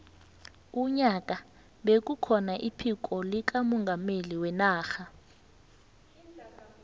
unyaka bekukhona iphiko likamongameli wenarha